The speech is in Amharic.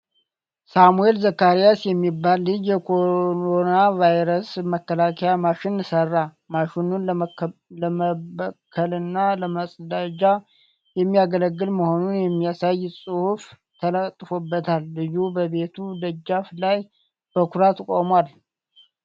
ሳሙኤል ዘካሪያስ የሚባል ልጅ የኮሮናቫይረስ መከላከያ ማሽን ሠራ። ማሽኑን ለመበከልና ለመፀዳጃ የሚያገለግል መሆኑን የሚያሳይ ጽሑፍ ተለጥፎበታል። ልጁ በቤቱ ደጃፍ ላይ በኩራት ቆሟል።